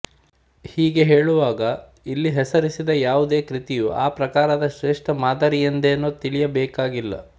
ಹೀಗೆ ಹೇಳುವಾಗ ಇಲ್ಲಿ ಹೆಸರಿಸಿದ ಯಾವುದೇ ಕೃತಿಯು ಆ ಪ್ರಕಾರದ ಶ್ರೇಷ್ಠ ಮಾದರಿಯೆಂದೇನೊ ತಿಳಿಯಬೇಕಾಗಿಲ್ಲ